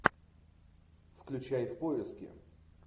включай в поиске